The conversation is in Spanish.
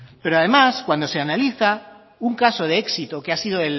pero además cuando se analiza un caso de éxito que ha sido